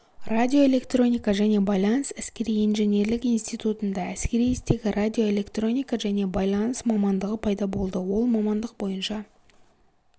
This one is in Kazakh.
радиоэлектроника және байланыс әскери-инженерлік институтында әскери істегі радиоэлектроника және байланыс мамандығы пайда болды ол мамандық бойынша